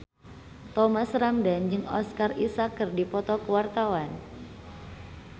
Thomas Ramdhan jeung Oscar Isaac keur dipoto ku wartawan